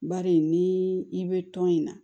Bari ni i bɛ tɔn in na